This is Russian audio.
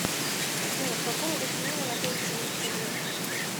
афина в каком регионе находится улица горького